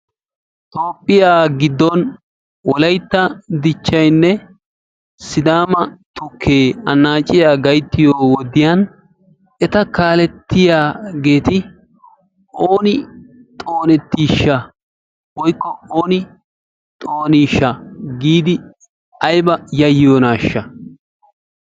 Toophphiya giddon Wolaytta dichchaynne sidaama tukkee annaaciya gayttiyo wodiyan eta kaalettiyageeti ooni xoonettiishsha/ooni xooniishsha giidi ayba yayyiyonaashsha?